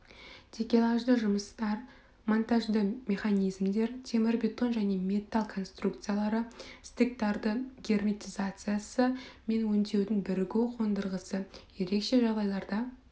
такелажды жұмыстар монтажды механизмдер темірбетон және металл конструкциялары стыктардың герметизациясы мен өңдеудің бірігу қондырғысы ерекше жағдайларда